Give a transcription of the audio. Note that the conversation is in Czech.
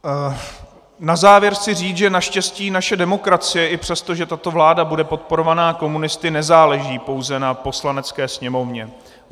Na závěr chci říct, že naštěstí naše demokracie i přesto, že tato vláda bude podporovaná komunisty, nezáleží pouze na Poslanecké sněmovně.